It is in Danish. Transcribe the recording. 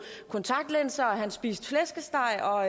kontaktlinser og han spiste flæskesteg og